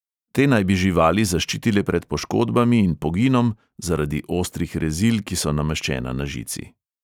Te naj bi živali zaščitile pred poškodbami in poginom zaradi ostrih rezil, ki so nameščena na žici.